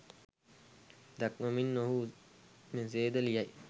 දක්වමින් ඔහු මෙසේ ද ලියයි